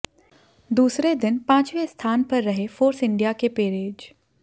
दूसरे दिन पांचवें स्थान पर रहे फोर्स इंडिया के पेरेज